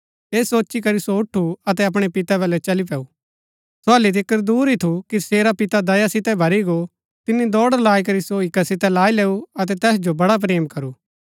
ऐह सोची करी सो उठु अतै अपणै पितै बलै चली पैऊ सो हल्ली तिकर दूर ही थू कि तसेरा पिता दया सितै भरी गो तिनी दौड़ लाई करी सो हिक्का सितै लाई लैऊ अतै तैस जो बड़ा प्रेम करू